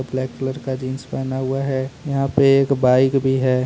Black colour का jeans पहना हुआ है यहाँ पे एक बाइक भी है।